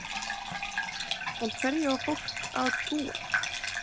En hverju á fólk að trúa?